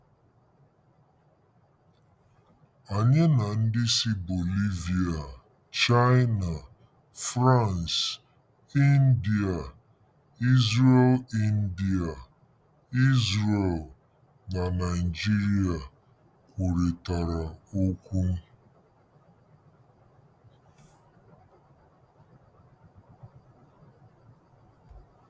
Anyị na ndị si Bolivia, China, France, India, Israel India, Israel, na Nigeria kwurịtara okwu.